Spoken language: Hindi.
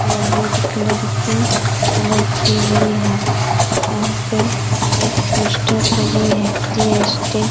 ले रेड कलर की कलर की हुई है यहाँ पे एक पोस्टर लगी हुई है जी.एस.टी. ।